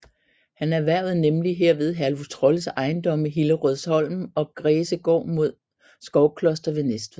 Han erhvervede nemlig herved Herluf Trolles ejendomme Hillerødsholm og Græsegård imod Skovkloster ved Næstved